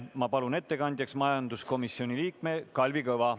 Ma palun ettekandjaks majanduskomisjoni liikme Kalvi Kõva.